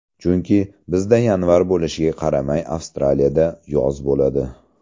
Chunki, bizda yanvar bo‘lishiga qaramay Avstraliyada yoz bo‘ladi.